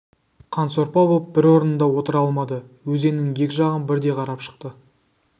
қансорпа боп бір орнында отыра алмады өзеннің екі жағын бірдей қарап шықты